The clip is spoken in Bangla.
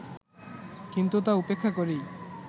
কিন্তু তা উপেক্ষা করেই